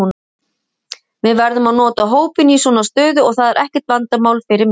Við verðum að nota hópinn í svona stöðu og það er ekkert vandamál fyrir mig.